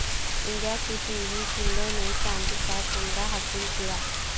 India کی P V Sindhu نے چاندی کا تمغہ حاصل کیا